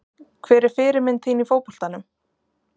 Hver er fyrirmynd þín í fótboltanum?